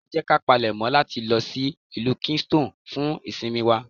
Ẹ jẹ́ ká palèmọ́ láti lọ sí ìlú Kingston fún ìsinmi wa.